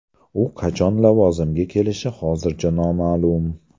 U qachon lavozimga kelishi hozircha noma’lum.